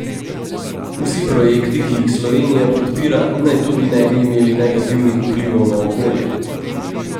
Vsi projekti, ki jih Slovenija podpira naj tudi ne bi imeli negativnih vplivov na okolje.